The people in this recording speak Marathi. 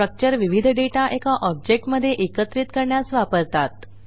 स्ट्रक्चर हे विविध डेटा एका ऑब्जेक्ट मध्ये एकत्रित करण्यासाठी वापरले जाते